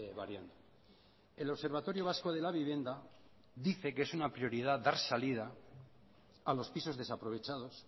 variando el observatorio vasco de la vivienda dice que es una prioridad dar salida a los pisos desaprovechados